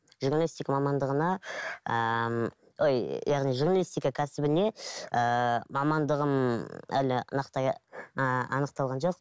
журналистика мамандығына ііі ой яғни журналистика кәсібіне ііі мамандығын әлі нақтылай ыыы анықталған жоқ